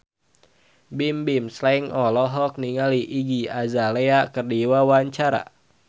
Bimbim Slank olohok ningali Iggy Azalea keur diwawancara